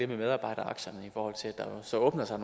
med medarbejderaktierne i forhold til at der så åbner sig